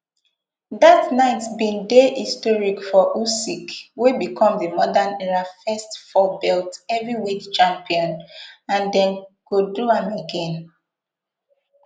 dat night bin dey historic for usyk wey become di modern era first fourbelt heavyweight champion and dem go do am again